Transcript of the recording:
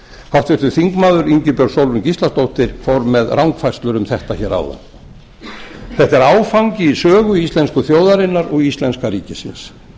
háttvirtur þingmaður ingibjörg sólrún gísladóttir fór með rangfærslur um þetta hér áðan þetta er áfangi í sögu íslensku þjóðarinnar og íslenska ríkisins